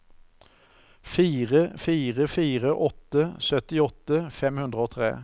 fire fire fire åtte syttiåtte fem hundre og tre